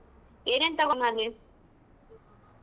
ಏನೇನ್ ತಗೊಂಡ್ ತಗೊಂಡ್ಬರ್ಲಿ?